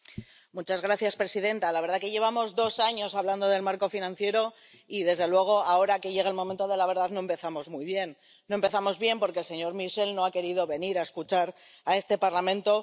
Señora presidenta, la verdad es que llevamos dos años hablando del marco financiero y, desde luego, ahora que llega el momento de la verdad, no empezamos muy bien. No empezamos bien porque el señor Michel no ha querido venir a escuchar a este Parlamento.